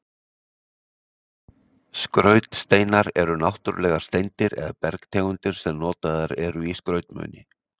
Skrautsteinar eru náttúrulegar steindir eða bergtegundir sem notaðar eru í skrautmuni.